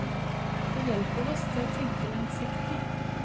Det hjelper oss til å tenke langsiktig.